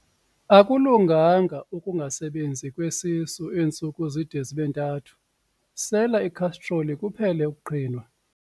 Akulunganga ukungasebenzi kwesisu iintsuku zide zibe ntathu, sela ikhastroli kuphele ukuqhinwa.